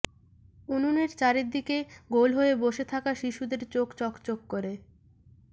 উনুনের চারদিকে গোল হয়ে বসে থাকা শিশুদের চোখ চকচক করে